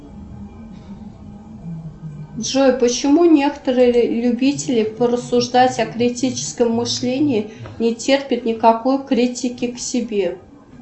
джой почему некоторые любители порассуждать о критическом мышлении не терпят никакой критики к себе